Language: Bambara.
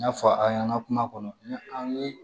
N y'a fɔ a' ɲɛna kuma kɔnɔ an ye